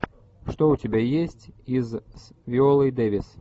что у тебя есть из с виолой дэвис